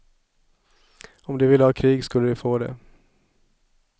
Om de ville ha krig skulle de få det.